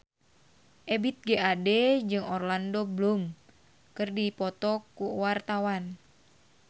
Ebith G. Ade jeung Orlando Bloom keur dipoto ku wartawan